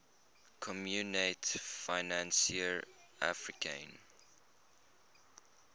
communaute financiere africaine